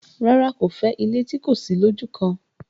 rárá, kò fẹ́ ilé tí kò sí lójúkan.